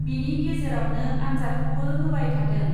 बिनि गेजेरावनो आन्जादखौबो होबाय थादों।